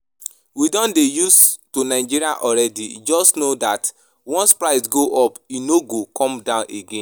We don dey used to Nigeria already. Just know dat once price go up e no go come down again